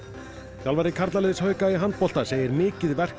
þjálfari karlaliðs hauka í handbolta segir mikið verk